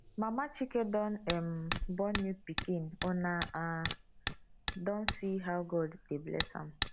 mama chike don um born new pikin una um don see how god dey bless am